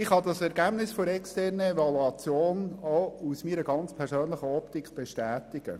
Ich kann das Ergebnis der externen Evaluation auch aus meiner persönlichen Optik bestätigen.